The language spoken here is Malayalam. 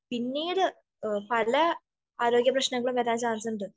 പിന്നീട് പല ആരോഗ്യ പ്രശ്നങ്ങളും വരാൻ ചാൻസ് ഉണ്ട്